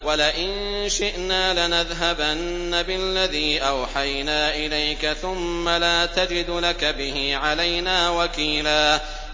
وَلَئِن شِئْنَا لَنَذْهَبَنَّ بِالَّذِي أَوْحَيْنَا إِلَيْكَ ثُمَّ لَا تَجِدُ لَكَ بِهِ عَلَيْنَا وَكِيلًا